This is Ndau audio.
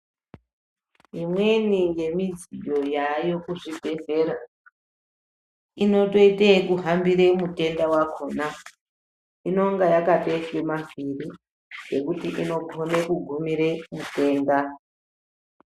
Imweni yemudziyi yayo kuzvibhedhlera inotoita yekuhambire mutenda wakona . Inonga yakatouswa mavhiri ekuti inogona kugumira mutenda.